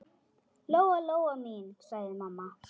Lóa-Lóa mín, sagði mamma.